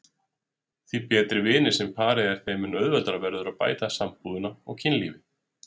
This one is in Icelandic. Því betri vinir sem parið er þeim mun auðveldara verður að bæta sambúðina og kynlífið.